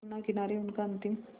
यमुना किनारे उनका अंतिम